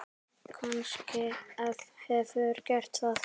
Kannske hefurðu gert það.